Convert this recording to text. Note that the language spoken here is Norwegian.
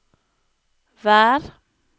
vær